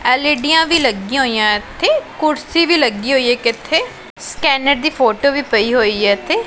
L E D ਆਂ ਵੀ ਲੱਗਿਆਂ ਹੋਈਆਂ ਇੱਥੇ ਕੁਰਸੀ ਵੀ ਲੱਗੀ ਹੋਈਆ ਇੱਕ ਇੱਥੇ ਸਕੈਨਰ ਦੀ ਫੋਟੋ ਵੀ ਪਈ ਹੋਇਆ ਇੱਥੇ।